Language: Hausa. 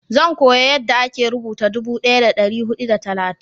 zan koya yanda a ke rubuta dubu daya da dari hudu da talatin